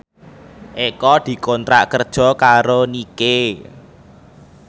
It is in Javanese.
Eko dikontrak kerja karo Nike